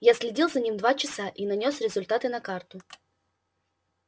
я следил за ним два часа и нанёс результаты на карту